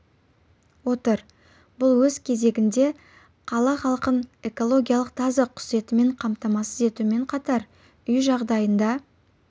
отыр бұл өз кезегінде қала халқын экологиялық таза құс етімен қамтамасыз етумен қатар үй жағдайында